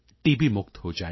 ਤੋਂ ਮੁਕਤ ਹੋ ਜਾਵੇਗਾ